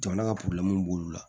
Jamana ka b'olu la